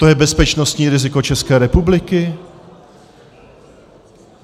To je bezpečnostní riziko České republiky?